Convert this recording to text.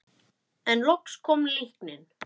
En loks kom líknin.